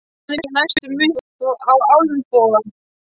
Þeir náðu mér næstum upp á olnboga.